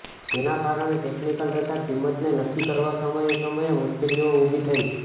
જેના કારણે ટેક્નિકલ તથા કિંમતને નક્કી કરવામાં સમયે સમયે મુશ્કેલીઓ ઉભી થઈ